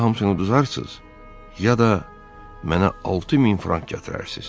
Ya hamısını udarsız, ya da mənə 6000 frank gətirərsiz.